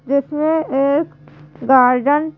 जिसमें एक गार्डन --